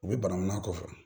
U bɛ banankɔnna kɔfɛ